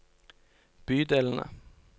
bydelene